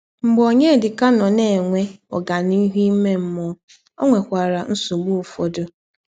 Mgbe Ọnyedika nọ na - enwe ọganihụ ime mmụọ, ọ nwekwara nsọgbụ ụfọdụ.